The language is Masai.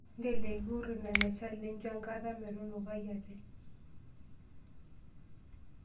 Nteleiki irkurt ine neshal nincho enkata metunukai ate.